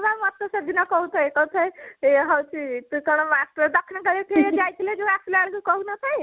ହଁ ବା ମତେ ସେଦିନ କହୁଥାଏ କହୁଥାଏ ହଉଛି ତୁ କଣ master ଟା ଦକ୍ଷିଣକାଳିଠି ଯୋଉ ଯାଇଥିଲେ ଆସିଲା ବେଳକୁ କହୁ ନଥାଏ